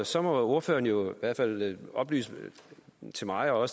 så må ordføreren jo i hvert fald oplyse til mig og